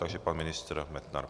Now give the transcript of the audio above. Takže pan ministr Metnar.